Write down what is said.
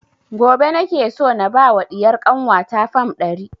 Gobe nake so na ba wa ɗiyar kanwa ta fam ɗari